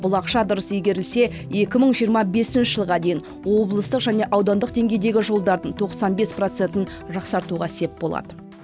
бұл ақша дұрыс игерілсе екі мың жиырма бесінші жылға дейін облыстық және аудандық деңгейдегі жолдардың тоқсан бес процентін жақсартуға сеп болады